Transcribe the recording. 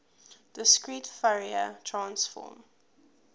discrete fourier transform